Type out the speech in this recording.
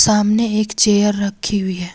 सामने एक चेयर रखी हुई है।